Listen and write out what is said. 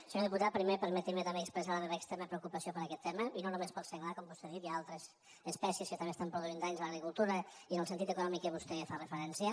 senyor diputat primer permeti’m també expressar la meva extrema preocupació per aquest tema i no només pel senglar com vostè ha dit hi ha altres espècies que també estan produint danys a l’agricultura i en el sentit econòmic a què vostè fa referència